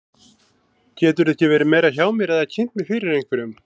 Geturðu ekki verið meira hjá mér eða kynnt mig fyrir einhverjum.